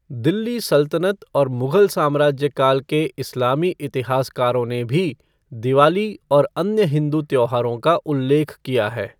दिल्ली सल्तनत और मुगल साम्राज्य काल के इस्लामी इतिहासकारों ने भी दिवाली और अन्य हिंदू त्योहारों का उल्लेख किया है।